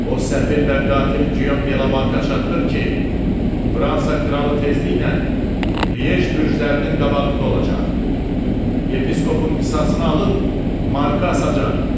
O səfil və qatil Giyom Delamarka çatdır ki, Fransa kralı tezliklə Liej bürclərinin qabağında olacaq, yepiskopun qisasını alıb marka asacaqdır.